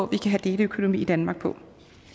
kan have deleøkonomi i danmark på